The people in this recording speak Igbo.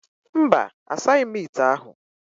Mba, asaghị m ite ahụ